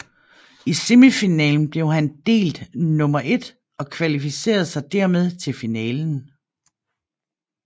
I semifinalen blev han delt nummer ét og kvalificerede sig dermed til finalen